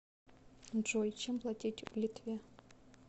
джой чем платить в литве